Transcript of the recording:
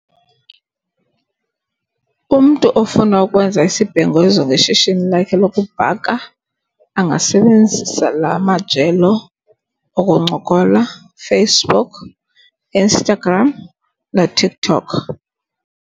Umntu ofuna ukwenza isibhengezo ngeshishini lakhe lokubhaka angasebenzisa la majelo okuncokola. Facebook, Instagram, noTikTok.